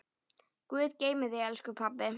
Guð geymi þig, elsku pabbi.